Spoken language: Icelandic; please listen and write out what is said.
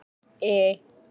I